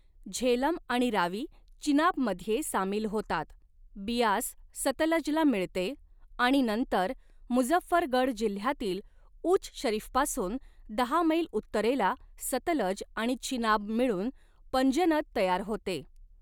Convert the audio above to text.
झेलम आणि रावी चिनाबमध्ये सामील होतात, बियास सतलजला मिळते आणि नंतर मुझफ्फरगढ जिल्ह्यातील उच शरीफपासून दहा मैल उत्तरेला सतलज आणि चिनाब मिळून पंजनद तयार होते.